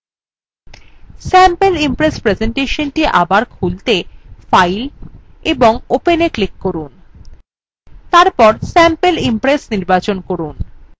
sample impress presentation the আবার খুলতে file এবং openwe click করুন এবং তারপর sample impress নির্বাচন করুন